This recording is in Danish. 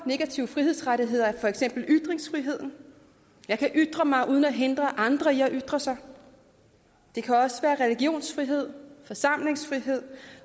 negativ frihedsrettighed er for eksempel ytringsfrihed jeg kan ytre mig uden at hindre andre i at ytre sig det kan også være religionsfrihed forsamlingsfrihed